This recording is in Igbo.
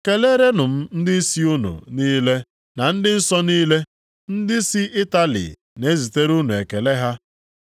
Keleerenụ m ndịisi unu niile na ndị nsọ niile. Ndị si Itali na-ezitere unu ekele ha.